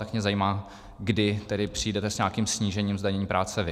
Tak mě zajímá, kdy tedy přijdete s nějakým snížením zdanění práce vy.